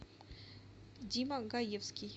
дима гаевский